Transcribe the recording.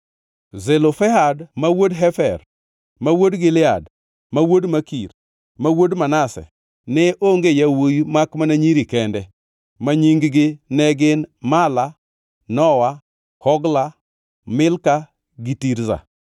Zelofehad ma wuod Hefer, ma wuod Gilead, ma wuod Makir, ma wuod Manase, ne onge yawuowi makmana nyiri kende, ma nying-gi ne gin: Mala, Nowa, Hogla, Milka gi Tirza.